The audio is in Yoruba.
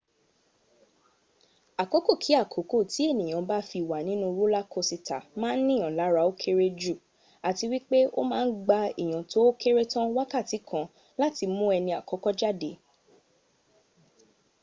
àkókò kí àkókò tí ènìyàn bá fi wà nínú rólá kosìtà má a nìyàn lára ó kéré jù àti wípé ó ma ń gba èèyàn tó ókéré tán wákàtí kan láti mún ẹni àkọ́kọ́ jáde